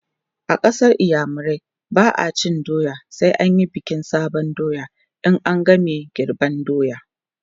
a ƙasar iyamurai ba'a cin doya sai an Yi bikin sabon doya in an game girban doya